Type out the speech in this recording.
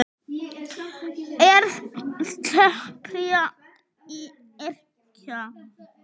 Er þerapía að yrkja?